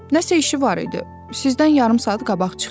Nəsə işi var idi, sizdən yarım saat qabaq çıxdı.